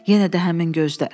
Yenə də həmin gözlər.